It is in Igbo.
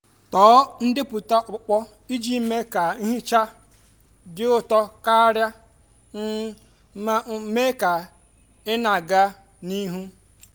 tọọ ndepụta ọkpụkpọ iji mee ka nhicha dị ụtọ karịa um ma um mee ka ị na-aga n'ihu.